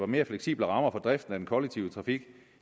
mere fleksible rammer for driften af den kollektive trafik